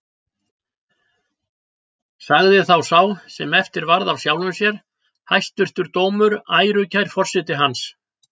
Sagði þá sá sem eftir varð af sjálfum sér: Hæstvirtur dómur, ærukær forseti hans!